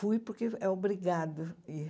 Fui porque é obrigado a ir.